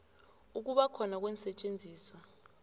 ukuba khona kweensetjenziswa